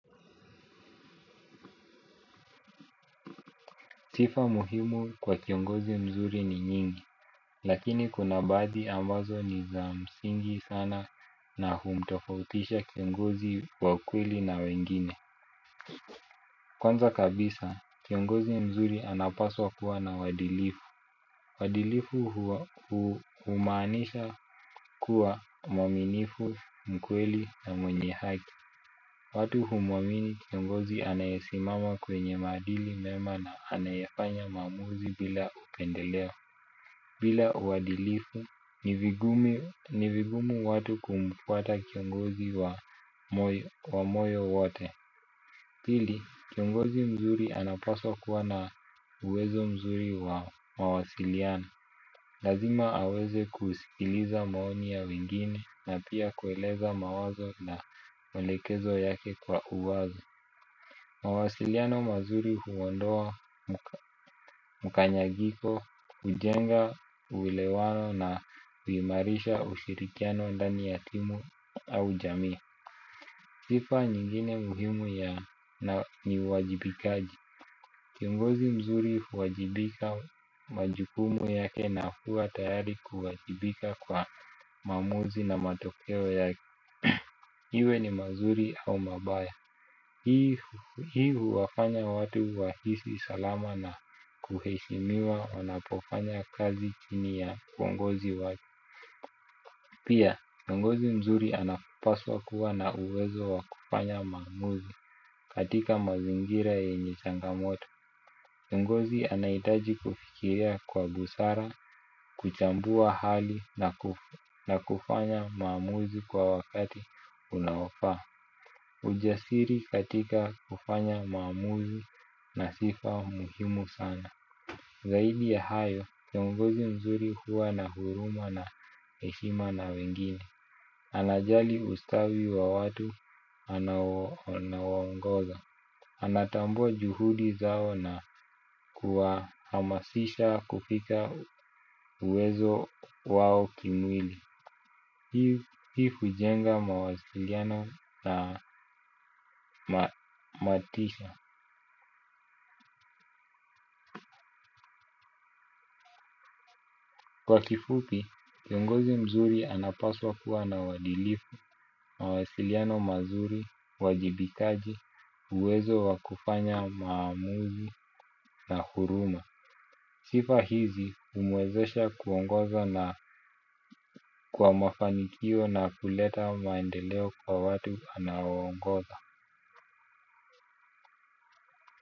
Sifa muhimu kwa kiongozi mzuri ni nyingi, lakini kuna baadhi ambazo ni za msingi sana na humtofautisha kiongozi wa ukweli na wengine. Kwanza kabisa, kiongozi mzuri anapaswa kuwa na wadilifu. Wadilifu humaanisha kuwa mwaminifu, mkweli na mwenye haki. Watu humwamini kiongozi anayesimama kwenye maadili mema na anayefanya maamuzi bila upendelea. Bila uwadilifu ni vigumu watu kumfuata kiongozi wa moyo wote pili kiongozi mzuri anapaswa kuwa na uwezo mzuri wa mawasiliano. Lazima aweze kusikiliza maoni ya wengine na pia kueleza mawazo na welekezo yake kwa uwazi. Mawasiliano mazuri huondoa mkanyagiko, hujenga, uwelewano na huimarisha ushirikiano ndani ya timu au jamii. Sifa nyingine muhimu ya ni uwajibikaji. Kiongozi mzuri huwajibika majukumu yake na huwa tayari kuwajibika kwa maamuzi na matokeo yake. Iwe ni mazuri au mabaya. Hii huwafanya watu wahisi salama na kuheshimiwa wanapofanya kazi chini ya uongozi wake. Pia, kiongozi mzuri anapaswa kuwa na uwezo wa kufanya maamuzi katika mazingira yenye changamoto kiongozi anahitaji kufikiria kwa busara, kuchambua hali na kufanya maamuzi kwa wakati unaofaa. Ujasiri katika kufanya maamuzi na sifa muhimu sana. Zaidi ya hayo, kiongozi mzuri huwa na huruma na heshima na wengine. Anajali ustawi wa watu anaowaongoza. Anatambua juhudi zao na kuhamasisha kufika uwezo wao kimwili. Hii fujenga mawasiliano na matisha. Kwa kifupi, kiongozi mzuri anapaswa kuwa na uwadilifu, mawasiliano mazuri, uwajibikaji, uwezo wa kufanya maamuzi na huruma. Sifa hizi humwezesha kuongoza na kwa mafanikio na kuleta maendeleo kwa watu anaowaongoza.